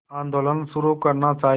आंदोलन शुरू करना चाहिए